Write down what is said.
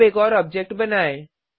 अब एक और ऑब्जेक्ट बनाएँ